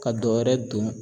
Ka dɔwɛrɛ don